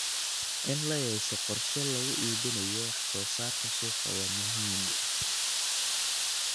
In la yeesho qorshe lagu iibinayo wax soo saarka suuqa waa muhiim.